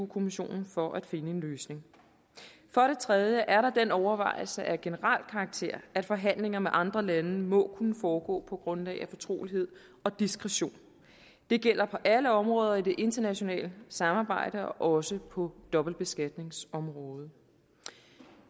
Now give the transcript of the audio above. kommissionen for at finde en løsning for det tredje er der den overvejelse af generel karakter at forhandlinger med andre lande må kunne foregå på grundlag af fortrolighed og diskretion det gælder på alle områder i det internationale samarbejde og også på dobbeltbeskatningsområdet